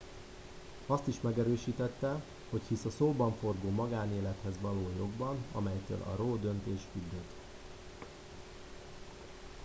azt is megerősítette hogy hisz a szóbanforgó magánélethez való jogban melytől a roe döntés függött